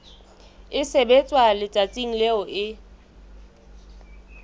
e sebetswa letsatsing leo e